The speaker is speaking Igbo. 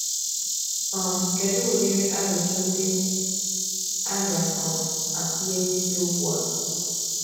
um Kedu udiri Ajụjụ ndị a ga - um atụle n’isiokwu a?